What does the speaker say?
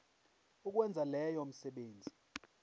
ukwenza leyo misebenzi